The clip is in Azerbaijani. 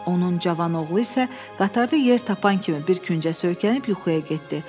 Onun cavan oğlu isə qatarda yer tapan kimi bir küncə söykənib yuxuya getdi.